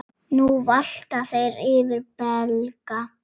Nú valta þeir yfir Belga.